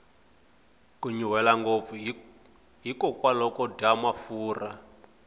ku nyuhela ngopfu hi kokwalaho ko dya mafurha